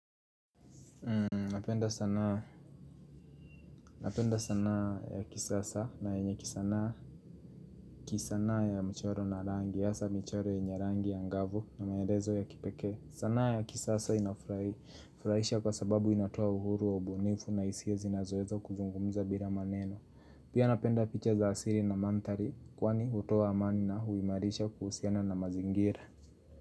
Napenda sanaa Napenda sanaa ya kisasa na yenye kisanaa kisanaa ya mchoro na rangi, hasa michoro yenye rangi ya ngavu na maelezo ya kipekee. Sanaa ya kisasa inafurahisha kwa sababu inatoa uhuru wa ubunifu na hisia zinazoweza kuzungumza bila maneno Pia napenda picha za asili na manthari kwani hutoa amani na huimarisha kuhusiana na mazingira.